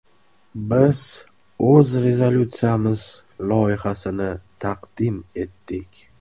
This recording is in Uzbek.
Biz o‘z rezolyutsiyamiz loyihasini taqdim etdik.